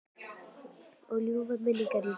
Og lagði ljúfar minningar í rúst.